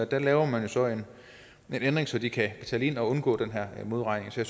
der laver man jo så en ændring så de kan betale ind og undgå den her modregning så